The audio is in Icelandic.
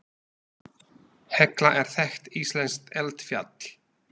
Hekla er þekkt íslenskt eldfjall.